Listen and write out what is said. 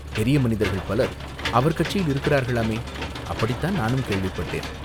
"பெரிய மனிதர்கள் பலர் அவர் கட்சியில் இருக்கிறார்களாமே?" "அப்படித்தான் நானும் கேள்விப்பட்டேன்.